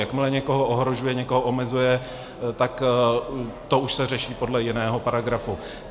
Jakmile někoho ohrožuje, někoho omezuje, tak to už se řeší podle jiného paragrafu.